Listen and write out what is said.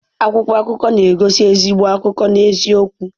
Akwụkwọ akụkọ na-egosi ezigbo akụkọ na eziokwu.